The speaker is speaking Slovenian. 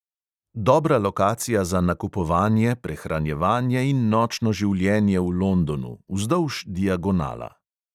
Dobra lokacija za nakupovanje, prehranjevanje in nočno življenje v londonu, vzdolž diagonala.